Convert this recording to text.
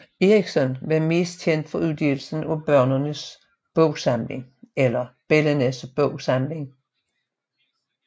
Erichsen var mest kendt for udgivelsen af Børnenes Bogsamling